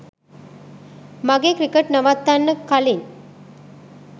මගේ ක්‍රිකට් නවත්තන්න කලින්